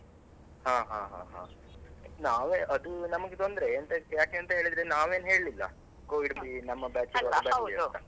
ಹಾ ಹಾ ಹಾ, ನಾವೇ ಅದು ನಮಗೆ ತೊಂದ್ರೆ ಎಂತಕ್ ಯಾಕೇಂತ ಹೇಳಿದ್ರೆ ನಾವೇನು ಹೇಳಿಲ್ಲ Covid ನಮ್ಮ batch ಬರ್ಲಿ ಅಂತ .